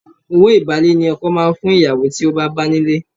Owó ìbálé ni ọkọ máa ń fún ìyàwó tí ó bá bá nílé.